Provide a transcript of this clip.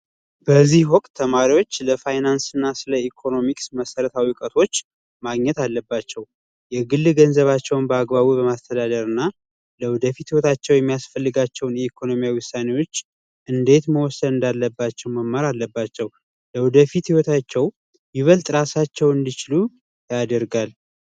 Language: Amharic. በዚህ ወቅት ተማሪዎች ስለ ፋይናንስና ስለ ኢኮኖሚክስ እውቀት ማግኘት አለባቸው የግል ገንዘባቸውን በአግባቡ በማስተዳደርና ለወደፊት ሂወታቸው የሚያስፈልጋቸውን የግል ውሳኔዎች እንዴት መወሰን እንዳለባቸው መማር አለባቸው ለወደፊት ህይወታቸው ይበልጥ ራሳቸውን እንዲችሉ ያደርጋል።